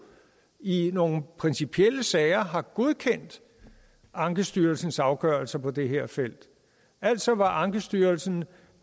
i nogle principielle sager har godkendt ankestyrelsens afgørelser på det her felt altså hvor ankestyrelsen